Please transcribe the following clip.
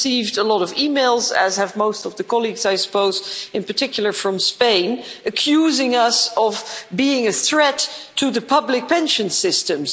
I've received a lot of emails, as have most of the colleagues I suppose, in particular from Spain, accusing us of being a threat to the public pension systems.